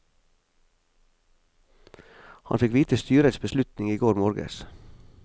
Han fikk vite styres beslutning i går morges.